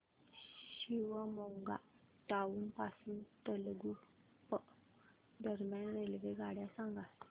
Shivamogga town पासून तलगुप्पा दरम्यान रेल्वेगाड्या सांगा